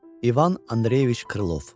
İvan Andreyeviç Krılov.